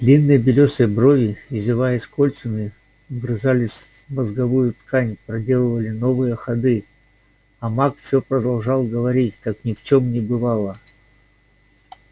длинные белёсые брови извиваясь кольцами вгрызались в мозговую ткань проделывали новые ходы а маг всё продолжал говорить как ни в чём не бывало